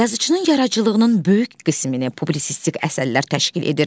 Yazıçının yaradıcılığının böyük qismini publisistik əsərlər təşkil edir.